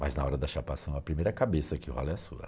Mas na hora da chapação, a primeira cabeça que rola é a sua.